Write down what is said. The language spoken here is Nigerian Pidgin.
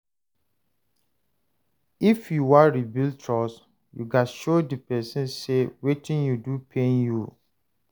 if yu wan rebuild trust, yu gats show di pesin say wetin you do pain you.